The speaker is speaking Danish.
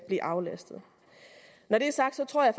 blive aflastet når det er sagt tror jeg